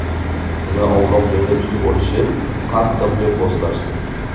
Uni ovloq joyda tutib olishib, qattiq do‘pposlashdi.